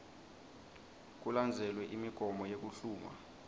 kulandzelwe imigomo yekuhlungwa